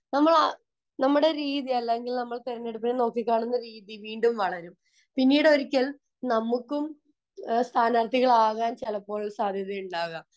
നമ്മൾ നമ്മളെ രീതി അല്ലെങ്കിൽ രാഷ്ട്രീയത്തെ നോക്കി കാണുന്ന രീതി വീണ്ടും വളരും പിന്നീട് ഒരിക്കൽ നമ്മക്കും സ്ഥാനാർത്ഥികൾ ആവാൻ സാധ്യത ഉണ്ടാവാം